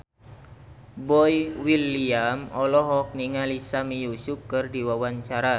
Boy William olohok ningali Sami Yusuf keur diwawancara